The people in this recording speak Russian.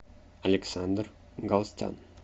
александр галстян